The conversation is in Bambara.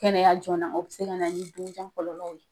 Kɛnɛya joona o be se ka na ni don jan kɔlɔlɔw ye